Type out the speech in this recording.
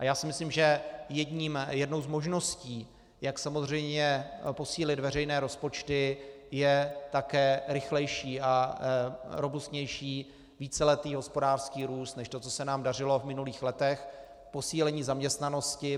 A já si myslím, že jednou z možností, jak samozřejmě posílit veřejné rozpočty, je také rychlejší a robustnější víceletý hospodářský růst než to, co se nám dařilo v minulých letech, posílení zaměstnanosti.